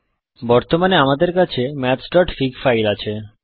বর্তমানে আমাদের কাছে mathsফিগ ফাইল আছে